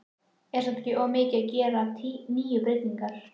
Er það samt of mikið að gera níu breytingar?